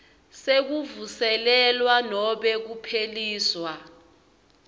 sekuvuselelwa nobe kupheliswa